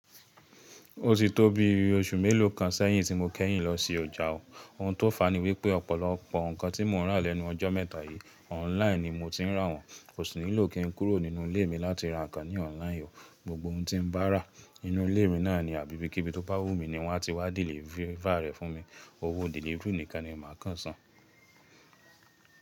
Ó ti tó bí oṣù mélòó kan sẹ́yìn tí mo kẹ́yìn lọ sí ọjà o. Ohun tó fàá ní wípé ọ̀pọ̀lọpọ̀ nǹkan tí mo rà lẹ́nu ọjọ́ mẹ́ta yìí online ni mo ti rà wọ́n. Kò sí nílò kí n kúrò nínú ilé mi láti ra nǹkan ní online o. Gbogbo ohun tí n bá rà inu ilé mi náà ni abi ibikíbi tó bá wù mí ni wọ́n a ti wá deliver rẹ̀ fún mi. Owó delivery nìkan ni màá kàn san.